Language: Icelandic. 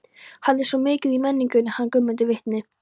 Hann er svo mikið í menningunni, hann Guðmundur vitni.